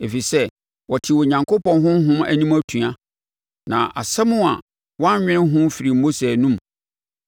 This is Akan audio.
ɛfiri sɛ wɔtee Onyankopɔn Honhom anim atua, na asɛm a wannwene ho firii Mose anomu.